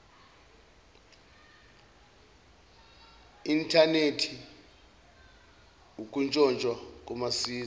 inthanethi ukutshontshwa komazizi